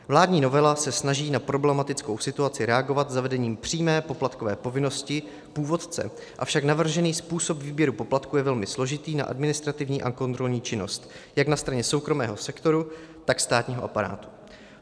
Vládní novela se snaží na problematickou situaci reagovat zavedením přímé poplatkové povinnosti původce, avšak navržený způsob výběru poplatku je velmi složitý na administrativní a kontrolní činnost jak na straně soukromého sektoru, tak státního aparátu.